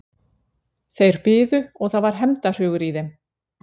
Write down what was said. Þeir biðu og það var hefndarhugur í þeim.